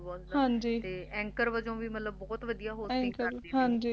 ਤੇ Anchor ਵਜੋਂ ਵੀ ਬਹੁਤ ਵਧੀਆ Hosting ਕਰਦੇ ਸੀ